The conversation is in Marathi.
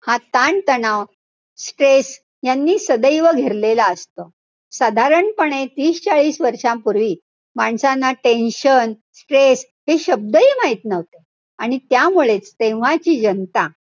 हा ताणतणाव, stress यांनी सदैव घेरलेला असतो. साधारणपणे तीस चाळीस वर्षांपूर्वी, माणसांना tension, stress हे शब्दही माहित नव्हते. आणि त्यामुळेच तेव्हाची जनता,